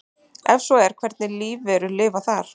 Ef svo er hvernig lífverur lifa þar?